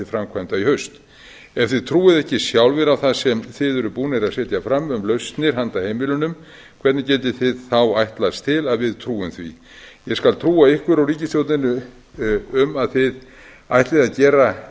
framkvæmda í haust ef þið trúið ekki sjálfir að það sem þið eruð búnir að setja fram um lausnir handa heimilunum hvernig getið þið þá ætlast til að við trúum því ég skal trúa ykkur og ríkisstjórninni um að þið ætlið að gera